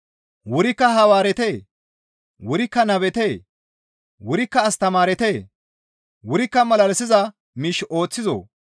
Wurikka hawaaretee? Wurikka nabetee? Wurikka astamaaretee? Wurikka malalisiza miish ooththizoo?